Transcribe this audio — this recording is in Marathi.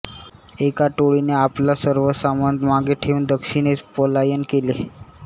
एका टोळीने आपला सर्व सामान मागे ठेवून दक्षिणेस पलायन केले